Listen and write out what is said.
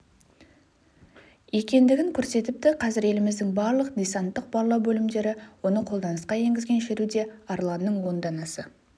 екендігін көрсетіпті қазір еліміздің барлық десанттық барлау бөлімдері оны қолданысқа енгізген шеруде арланның он данасы